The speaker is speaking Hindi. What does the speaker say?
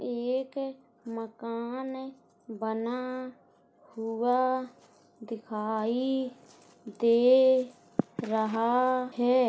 यह एक मकान बना हुआ दिखाई दे रहा है।